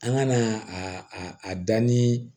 An ka na a a danni